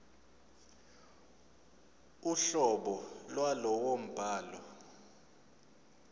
uhlobo lwalowo mbhalo